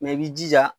i b'i jija